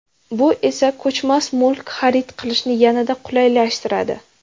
Bu esa ko‘chmas mulk xarid qilishni yanada qulaylashtiradi!